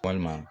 Walima